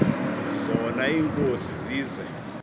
zona iinkosi zize